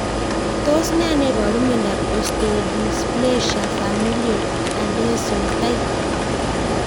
Tos ne neiparu miondop Osteodysplasia familial Anderson type?